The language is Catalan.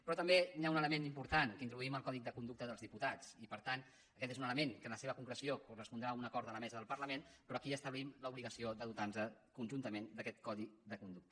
però també hi ha un element important que intro duïm el codi de conducta dels diputats i per tant aquest és un element que en la seva concreció correspondrà a un acord de la mesa del parlament però aquí establim l’obligació de dotarnos conjuntament d’aquest codi de conducta